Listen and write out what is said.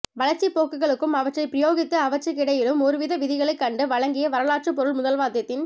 வளர்ச்சிப் போக்குகளுக்கும் அவற்றைப் பிரயோகித்து அவர்றிற்கிடையிலும் ஒருவித விதிகளைக் கண்டு வழங்கிய வரலாற்றுப் பொருள்முதல்வாதத்தின்